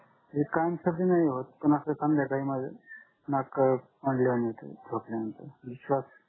कायम सर्दी नाही होत पण असं नाक अं होत झोपल्यानंतर